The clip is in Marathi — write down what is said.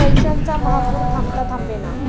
पैशांचा महापूर थांबता थांबेना...